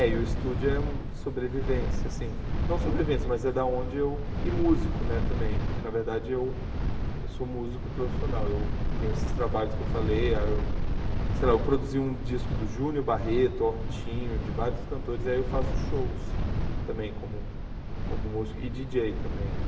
É, e o estúdio é sobrevivência, assim, não sobrevivência, mas é da onde eu... E músico, né, também, que na verdade eu eu sou músico profissional, eu tenho esses trabalhos que eu falei, ah eu sei lá, eu produzi um disco do Júnior Barreto, Ortinho, de vários cantores, aí eu faço shows também como como músico e djíi djêi também.